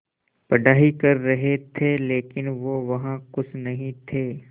पढ़ाई कर रहे थे लेकिन वो वहां ख़ुश नहीं थे